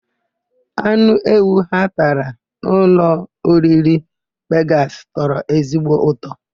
Anụ ewu ha tara na ụlọoriri Vegasị tọrọ ezigbo ụtọ.